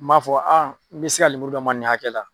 N m'a fɔ n bɛ se ka lemuru d'aw ma nin hakɛkɛ la.